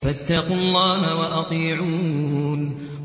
فَاتَّقُوا اللَّهَ وَأَطِيعُونِ